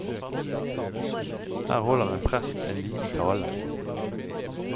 Her holder en prest en liten tale.